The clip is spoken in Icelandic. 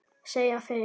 segja þeir.